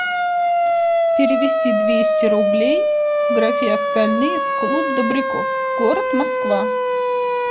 перевести двести рублей в графе остальные в клуб добряков город москва